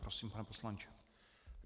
Prosím, pane poslanče.